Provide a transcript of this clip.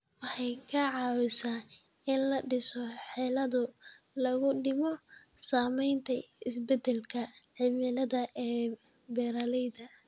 Waxay ka caawisaa in la dhiso xeelado lagu dhimo saamaynta isbeddelka cimilada ee beeralayda.